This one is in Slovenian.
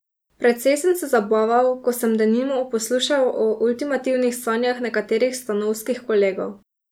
Precej sem se zabaval, ko sem denimo poslušal o ultimativnih sanjah nekaterih stanovskih kolegov.